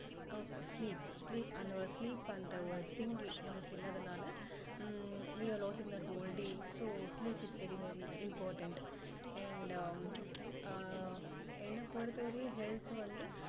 sleep sleep அந்த ஒரு sleep அந்த ஒரு thing நமக்கு இல்லாதனால hmm we are losing that whole day so sleep is very very important and ah என்ன பொறுத்த வரைக்கும் health வந்து